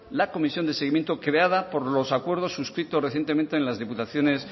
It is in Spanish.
la comisión de seguimiento creada por los acuerdos suscritos recientemente en las diputaciones